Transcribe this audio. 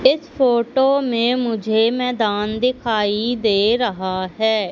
इस फोटो में मुझे मैदान दिखाई दे रहा है।